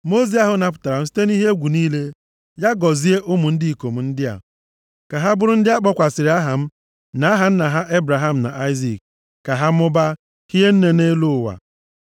Mmụọ ozi ahụ napụtara m site nʼihe egwu niile, ya gọzie ụmụ ndị ikom ndị a. Ka ha bụrụ ndị a kpọkwasịrị aha m na aha nna m ha Ebraham na Aịzik, ka ha mụbaa hie nne nʼelu ụwa.”